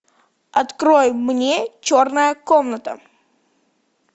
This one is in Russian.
открой мне черная комната